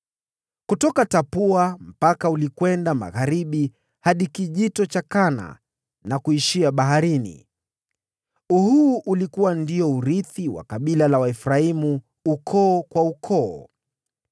Kutoka Tapua mpaka ulikwenda magharibi hadi Bonde la Kana na kuishia baharini. Huu ulikuwa ndio urithi wa kabila la Waefraimu, ukoo kwa ukoo.